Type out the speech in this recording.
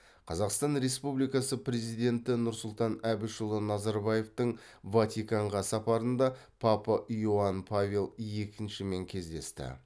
қазақстан республикасы президенті нұрсұлтан әбішұлы назарбаевтың ватиканға сапарында папа иоанн павел екіншімен кездесті